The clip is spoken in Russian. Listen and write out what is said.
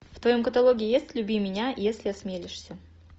в твоем каталоге есть люби меня если осмелишься